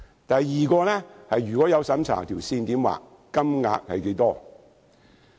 第二，如果進行審查，應如何訂定界線？